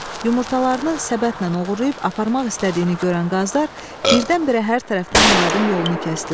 Yumurtalarını səbətlə oğurlayıb aparmaq istədiyini görən qazlar birdən-birə hər tərəfdən Muradın yolunu kəsdilər.